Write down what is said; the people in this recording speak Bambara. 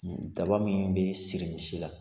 Daba min bɛ siri misi la.